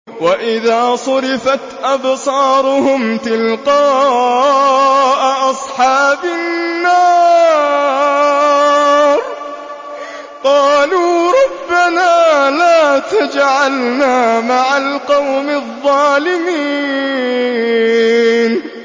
۞ وَإِذَا صُرِفَتْ أَبْصَارُهُمْ تِلْقَاءَ أَصْحَابِ النَّارِ قَالُوا رَبَّنَا لَا تَجْعَلْنَا مَعَ الْقَوْمِ الظَّالِمِينَ